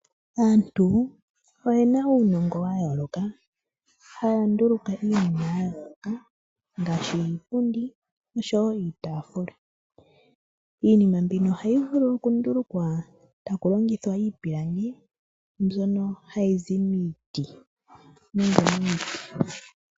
Aantu oyena uunongo wa yooloka haya nduluka iinima ya yooloka ngaaashi iipundi oshowo uutaafula. Iinima mbino ohayi vulu okundulukwa taku longithwa iipilangi mbyono hayizi miiti